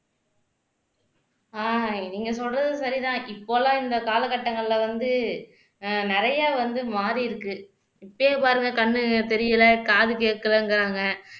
ஆஹ் நீங்க சொல்றது சரிதான் இப்பல்லாம் இந்த காலகட்டங்கள்ல வந்து ஆஹ் நிறைய வந்து மாறியிருக்கு இப்பவே பாருங்க கண்ணு தெரியல காது கேக்கலங்கறாங்க